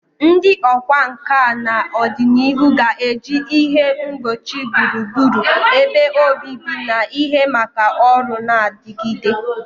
Ndị ọkwá nkà na ọdịnihu ga-eji ihe ngbochi gburugburu ebe obibi na ihe maka ọrụ na-adigide.